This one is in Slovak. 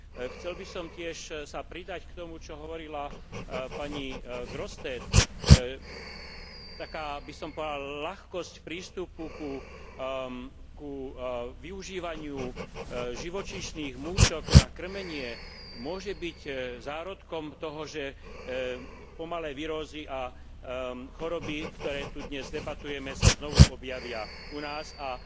Chcel by som tiež sa pridať k tomu, čo hovorila pani Grossetête, taká, by som povedal, ľahkosť prístupu k využívaniu živočíšnych múčok na kŕmenie môže byť zárodkom toho, že pomalé virózy a choroby, o ktorých tu dnes debatujeme, sa znovu objavia u nás a,